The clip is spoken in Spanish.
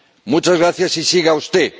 Muchas gracias y siga usted.